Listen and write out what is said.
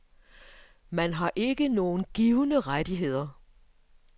Man har ikke nogen givne rettigheder.